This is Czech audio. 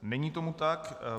Není tomu tak.